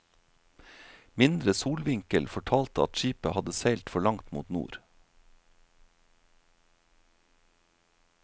Mindre solvinkel fortalte at skipet hadde seilt for langt mot nord.